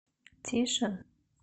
тише